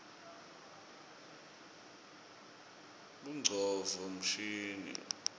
bongcondvo mshini